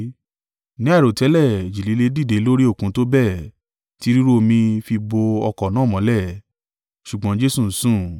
Ní àìròtẹ́lẹ̀, ìjì líle dìde lórí Òkun tó bẹ́ẹ̀ tí rírú omi fi bò ọkọ̀ náà mọ́lẹ̀; ṣùgbọ́n Jesu ń sùn.